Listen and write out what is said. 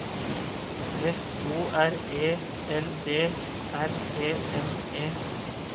F O R E L D R E N E